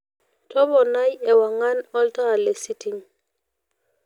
topnai ewangan olntaa lesitting